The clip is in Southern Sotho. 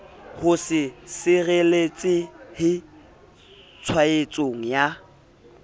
ho se sireletsehe tshwaetsong ya